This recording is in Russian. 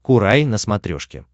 курай на смотрешке